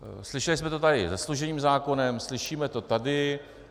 Slyšeli jsme to tady se služebním zákonem, slyšíme to tady.